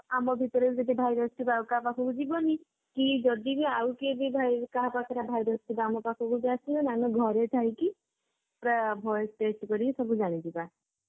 ଆମ ଭିତରେ ବି virus ଥିବ ଆଉ କାହା ପାଖକୁ ଯିବନି କି ଯଦି ବି ଆଉ କେହି ବି vi ଆଉ କାହା ପାଖରେ virus ଥିବ ଆମ ପାଖକୁ ବି ଆସିବନି ଆମେ ଘରେ ଥାଇକି ପୁରା voice set କରିକି ସବୁ ଜାଣିଯିବା